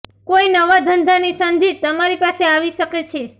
કોઇ નવા ધંધાની સંધિ તમારી પાસે આવી શકે છે